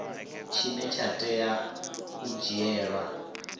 tshine tsha tea u dzhielwa